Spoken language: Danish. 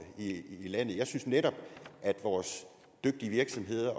i i landet jeg synes netop at vores dygtige virksomheder